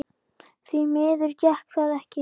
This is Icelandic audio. Því miður gekk það ekki.